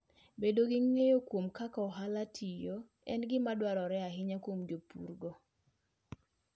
Bedo gi ng'eyo kuom kaka ohalano tiyo, en gima dwarore ahinya kuom jopurgo.